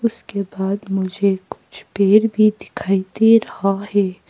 उसके बाद मुझे कुछ पेड़ भी दिखाई दे रहा है।